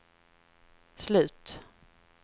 slut